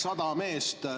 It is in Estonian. Aitäh!